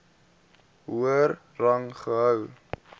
hoër rang gehou